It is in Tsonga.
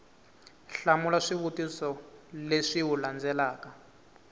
hlamula swivutiso leswi wu landzelaka